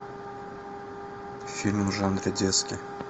фильм в жанре детский